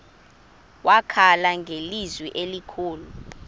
wakhala ngelizwi elikhulu